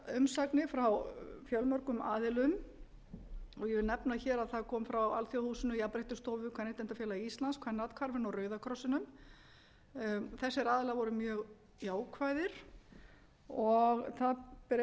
umsagnir frá fjölmörgum aðilum og ég vil nefna hér að það kom frá alþjóðahúsinu jafnréttisstofu kvenréttindafélagi íslands kvennaathvarfinu og rauða krossinum þessir aðilar voru mjög jákvæðir og þess ber einnig að